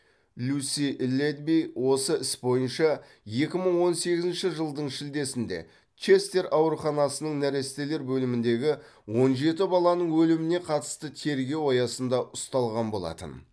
люси летби осы іс бойынша екі мың он сегізінші жылдың шілдесінде честер ауруханасының нәрестелер бөліміндегі он жеті баланың өліміне қатысты тергеу аясында ұсталған болатын